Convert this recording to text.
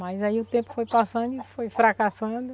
Mas aí o tempo foi passando e foi fracassando.